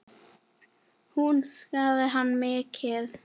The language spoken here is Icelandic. Hún saknaði hans mikið.